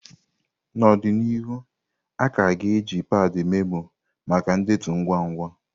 N'ọdịnihu, a ka ga-eji padi memoó maka ndetu ngwa ngwa.